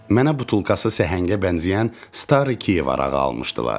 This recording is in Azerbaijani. Mənə butulkası səhəngə bənzəyən "Stariy Kiyev" arağı almışdılar.